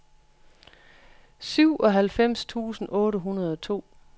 syvoghalvfems tusind otte hundrede og to